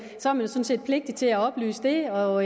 sådan set pligtig til at oplyse det og